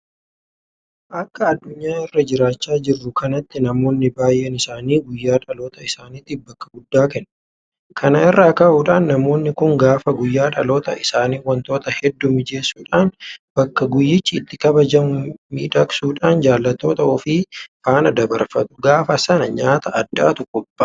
Akka addunyaa irra jiraachaa jirru kanaatti namoonni baay'een isaanii guyyaa dhaloota isaaniitiif bakka guddaa kennu. Kana irraa ka'uudhaan namoonni kun gaafa guyyaa dhaloota isaanii waantota hedduu mijeessuudhaan bakka guyyichi itti kabajamu miidhaksuudhaan jaallattoota ofii faana dabarfatu. Gaafa sana nyaata addaatu qophaa'a.